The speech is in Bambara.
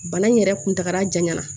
Bana in yɛrɛ kuntagala jan ɲɛna